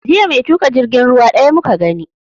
Jiya mai tuƙa jirgin ruwa ɗaya muka gani